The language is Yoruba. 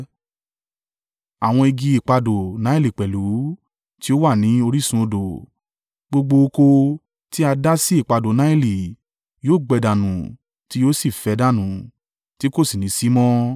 àwọn igi ipadò Naili pẹ̀lú, tí ó wà ní orísun odò, gbogbo oko tí a dá sí ipadò Naili yóò gbẹ dànù tí yóò sì fẹ́ dànù tí kò sì ní sí mọ́.